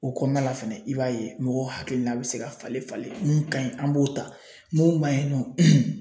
O kɔnɔna la fɛnɛ i b'a ye mɔgɔw hakilina bɛ se ka falen falen mun ka ɲi an b'o ta mun man ɲi nɔ